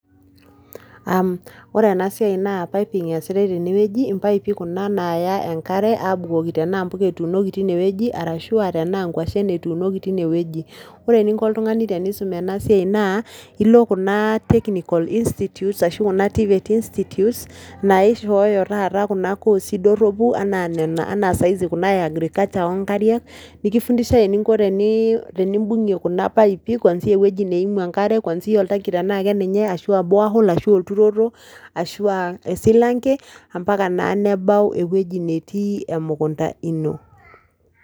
Ore enaa siai naa pipping esiitai teneweji. Impaipi kuna naya enkare abukoki tena mbuka etunoki tineweji arashu anaa nkuashen etunoki tineweji. Ore eninko oltung'ani tenisum ena siai naa oli kuna technicals institutes ashu TVET's institutes naishoyo taata kuna koosi doropi enaa nena sahizi kuna ee agriculture oo nkariak. Nifundishae enikoni tenibung'ie kuna paipii kuanzia eweji naimu enkare kuanzia oltanki tena keninye ashua borehole ashua olturoto ashua osilanke mpaka naa nebao eweji neeti emukunda ino.